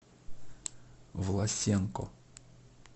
власенко